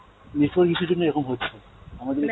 network issue র জন্য এরকম হচ্ছে, আমাদের